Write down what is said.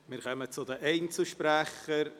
Wir kommen zu den Einzelsprechern.